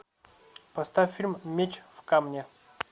поставь фильм меч в камне